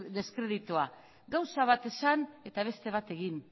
deskreditua gauza bat esan eta beste bat egin